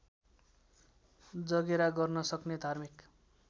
जगेरा गर्नसक्ने धार्मिक